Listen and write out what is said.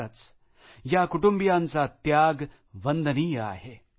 खरंच या कुटुंबियांचा त्याग वंदनीय आहे